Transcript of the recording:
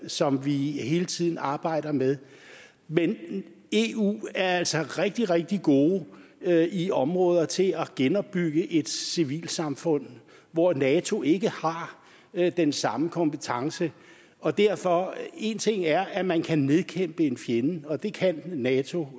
som vi hele tiden arbejder med men eu er altså rigtig rigtig gode i områder til at genopbygge et civilsamfund hvor nato ikke har den samme kompetence og derfor en ting er at man kan nedkæmpe en fjende og det kan nato